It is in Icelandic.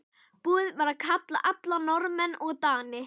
Búið var að kalla alla Norðmenn og Dani.